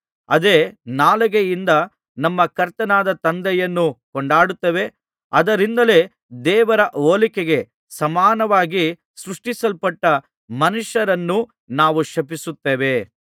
ಅದೇ ನಾಲಿಗೆಯಿಂದ ನಮ್ಮ ಕರ್ತನಾದ ತಂದೆಯನ್ನು ಕೊಂಡಾಡುತ್ತೇವೆ ಅದುದರಿಂದಲೇ ದೇವರ ಹೋಲಿಕೆಗೆ ಸಮಾನವಾಗಿ ಸೃಷ್ಟಿಸಲ್ಪಟ್ಟ ಮನುಷ್ಯರನ್ನು ನಾವು ಶಪಿಸುತ್ತೇವೆ